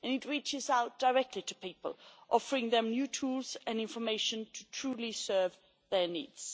It reaches out directly to people, offering them new tools and information to truly serve their needs.